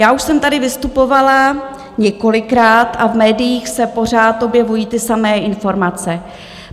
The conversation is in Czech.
Já už jsem tady vystupovala několikrát a v médiích se pořád objevují ty samé informace.